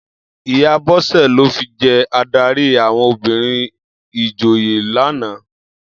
Iyá Bose lò fi jè àdárí áwòn óbìrín ijò yèn làná